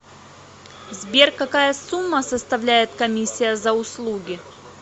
сбер какая сумма составляет комиссия за услуги